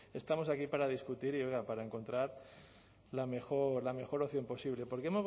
estamos aquí para discutir y oiga para encontrar la mejor la opción posible